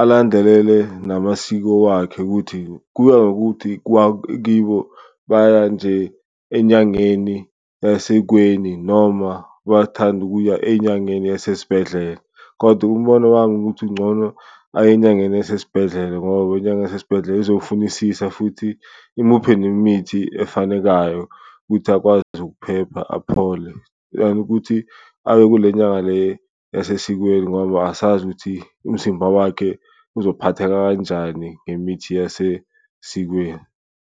alandelele namasiko wakhe ukuthi kuya ngokuthi kibo baya nje enyangeni esekweni noma bathanda ukuya enyangeni yasesibhedlela. Kodwa umbono wami ukuthi uncono aye enyangeni yasesibhedlela ngoba inyanga yasesibhedlela ezofunisisa futhi imuphe nemithi efanekayo ukuthi akwazi ukuphepha aphole. Than ukuthi aye kule nyanga le yasesikweni ngoba asazi ukuthi umzimba wakhe uzophatheka kanjani ngemithi yasesikweni.